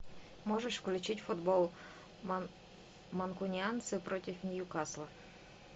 можешь включить футбол манкунианцы против ньюкасла